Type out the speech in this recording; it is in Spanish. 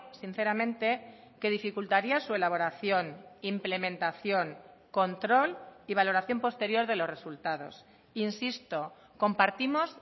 sinceramente que dificultaría su elaboración implementación control y valoración posterior de los resultados insisto compartimos